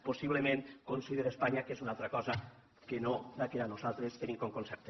possiblement considere que espanya és una altra cosa que no la que nosaltres tenim com a concepte